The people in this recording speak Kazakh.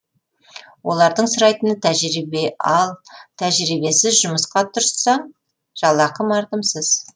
олардың сұрайтыны тәжірибе ал тәжірибесіз жұмысқа тұрсаң жалақы мардымсыз